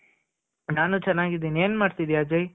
ನಾನು ಚೆನಾಗಿದಿನಿ. ಏನ್ ಮಾಡ್ತಿದಿಯ ಅಜಯ್ ?